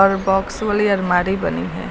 और बॉक्स वाली अलमारी बनी है।